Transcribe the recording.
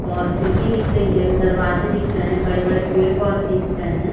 और खिड़की दिख रही है एक दरवाजे दिख रहें है बड़े-बड़े पेड़-पौधे दिख रहें है।